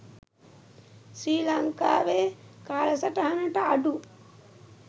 ශ්‍රී ලංකාවේ කාලසටහනට අඩු